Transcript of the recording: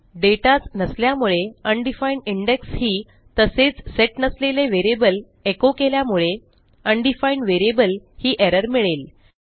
dataच नसल्यामुळे undefined index ही तसेच सेट नसलेले व्हेरिएबल एचो केल्यामुळे अनडिफाईन्ड व्हेरिएबल ही एरर मिळेल